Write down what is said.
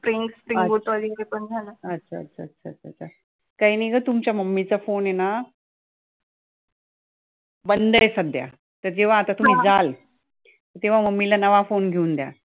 अच्छा अच्छा अच्छा अच्छा अच्छा काही नाही गं तुमच्या mummy चा phone ए ना बंद आहे सध्या, तर जेव्हा आता तुम्ही जाल तेव्हा mummy ला नवा phone घेऊन द्या